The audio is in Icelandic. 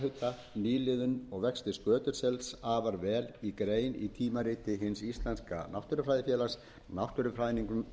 sjávarhita nýliðun og vexti skötusels afar vel í grein í tímariti hins íslenska náttúrufræðifélags náttúrufræðingnum